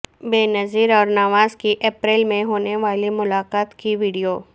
بینظیر اور نواز کی اپریل میں ہونے والی ملاقات کی وڈیو